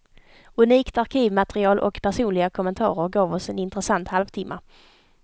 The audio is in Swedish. Unikt arkivmaterial och personliga kommentarer gav oss en intressant halvtimma.